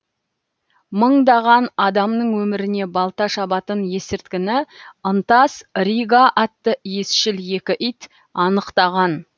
мыңдаған адамның өміріне балта шабатын есірткіні ынтас рига атты иісшіл екі ит анықтаған